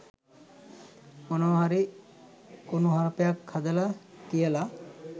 මොනවා හරි කුනුහරුපයක් හදල කියල